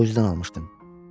Boyzdan almışdım.